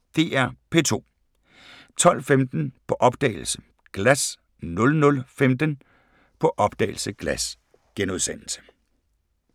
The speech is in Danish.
DR P2